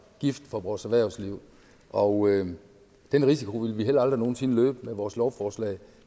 gift for vores erhvervsliv og den risiko ville vi heller aldrig nogen sinde løbe med vores lovforslag